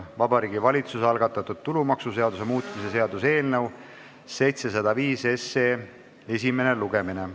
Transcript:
Vabariigi Valitsuse algatatud tulumaksuseaduse muutmise seaduse eelnõu 705 esimene lugemine.